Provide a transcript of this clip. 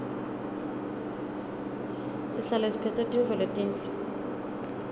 sihlale siphetse tintfo letinhle